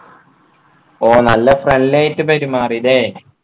ഓ നല്ല friendly ആയിട്ട് പെരുമാറി അല്ലെ